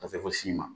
Ka se fo si ma